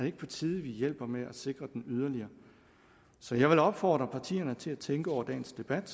ikke på tide vi hjælper med at sikre den yderligere så jeg vil opfordre partierne til at tænke over dagens debat